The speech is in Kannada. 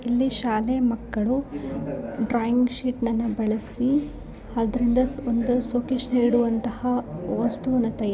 ಇಲ್ಲಿ ಶಾಲೆಯ ಮಕ್ಕಳು ಡ್ರಾಯಿಂಗ್‌ ಶೀಟ್‌ನ್ನ ಬಳಸಿ ಅದರಿಂದ ಶೋಕೆಸ್‌ ಇಡುವಂತಹ ವಸ್ತುವನ್ನು ತಯಾ--